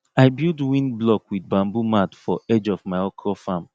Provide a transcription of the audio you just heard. i build wind block with bamboo mat for edge of my okra farm